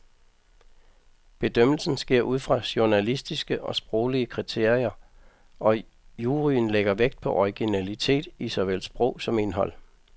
Bedømmelsen sker ud fra journalistiske og sproglige kriterier, og juryen lægger vægt på originalitet i såvel sprog som indhold.